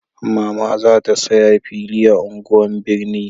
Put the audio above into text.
Mama za ta saya fili a unguwan birni